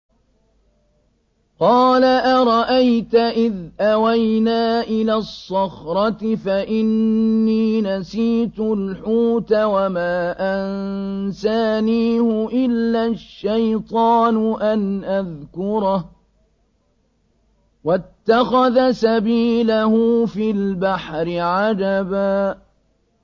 قَالَ أَرَأَيْتَ إِذْ أَوَيْنَا إِلَى الصَّخْرَةِ فَإِنِّي نَسِيتُ الْحُوتَ وَمَا أَنسَانِيهُ إِلَّا الشَّيْطَانُ أَنْ أَذْكُرَهُ ۚ وَاتَّخَذَ سَبِيلَهُ فِي الْبَحْرِ عَجَبًا